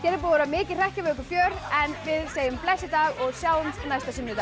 að vera mikið hrekkjavökufjör en við segjum bless í dag og sjáumst næsta sunnudag